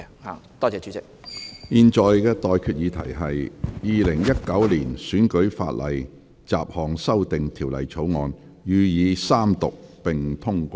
我現在向各位提出的待決議題是：《2019年選舉法例條例草案》予以三讀並通過。